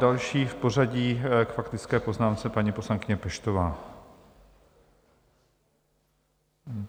Další v pořadí k faktické poznámce paní poslankyně Peštová.